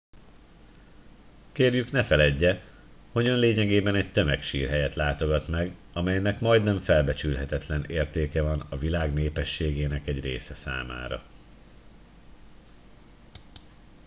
kérjük ne feledje hogy ön lényegében egy tömegsírhelyet látogat meg amelynek majdnem felbecsülhetetlen értéke van a világ népességének egy része számára